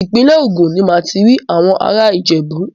Ìpínlẹ̀ Ògùn ní màá ti rí àwọn ará Ìjẹ̀bú.